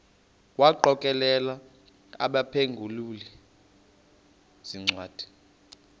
wagokelela abaphengululi zincwadi